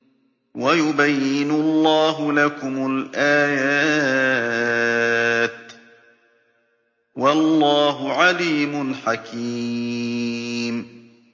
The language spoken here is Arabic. وَيُبَيِّنُ اللَّهُ لَكُمُ الْآيَاتِ ۚ وَاللَّهُ عَلِيمٌ حَكِيمٌ